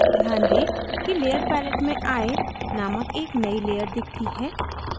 ध्यान दें कि layer palette में eye named एक नयी layer दिखती है